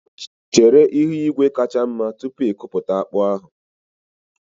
Chere ihu igwe kacha mma tupu ikuputa akpu ahụ